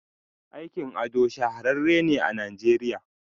Aikin ado shahararren ne a nigeriya.